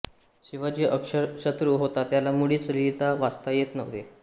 शिवाजी अक्षरशत्रू होता त्याला मुळीच लिहिता वाचता येत नव्हते